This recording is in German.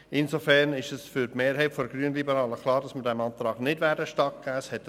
Insofern ist für die Mehrheit der grünliberalen Fraktion klar, dass wir diesem Antrag nicht stattgeben werden.